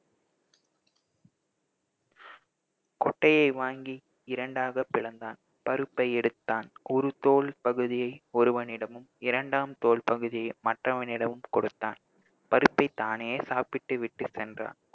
கொட்டையை வாங்கி இரண்டாக பிளந்தான் பருப்பை எடுத்தான் ஓருதோல் பகுதியை ஒருவனிடமும் இரண்டாம் தோல் பகுதியை மற்றவனிடமும் கொடுத்தான் பருப்பை தானே சாப்பிட்டு விட்டு சென்றான்